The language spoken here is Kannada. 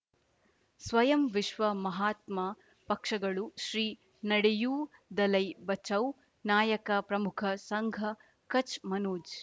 ಸ್ವಯಂ ವಿಶ್ವ ಮಹಾತ್ಮ ಪಕ್ಷಗಳು ಶ್ರೀ ನಡೆಯೂ ದಲೈ ಬಚೌ ನಾಯಕ ಪ್ರಮುಖ ಸಂಘ ಕಚ್ ಮನೋಜ್